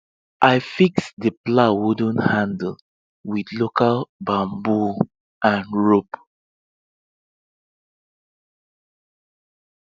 i fix the plow wooden handle with local bamboo and rope